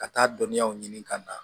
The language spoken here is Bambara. Ka taa dɔnniyaw ɲini ka na